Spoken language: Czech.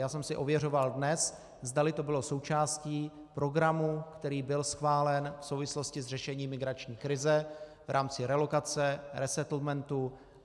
Já jsem si ověřoval dnes, zdali to bylo součástí programu, který byl schválen v souvislosti s řešením migrační krize v rámci relokace, resettlementu.